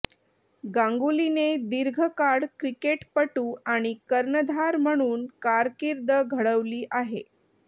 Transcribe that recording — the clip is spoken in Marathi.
गांगुलीने दीर्घकाळ क्रिकेटपटू आणि कर्णधार म्हणून कारकीर्द घडवली आहे